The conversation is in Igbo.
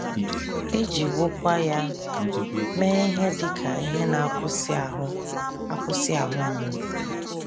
E jiwokwa ya mee ihe dị ka ihe na - akwụsị ahụ akwụsị ahụ mgbu.